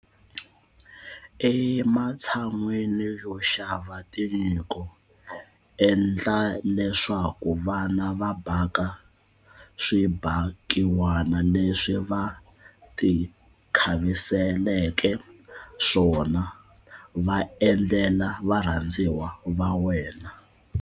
Ematshan'weni yo xava tinyiko, endla leswaku vana va baka swibakiwani leswi va tikhaviseleke swona va endlela varhandziwa va wena.